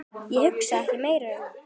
Ég hugsaði ekki meira um